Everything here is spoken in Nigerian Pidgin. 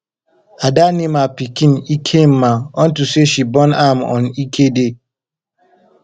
ada name her pikin ekemma unto say she born am on eke day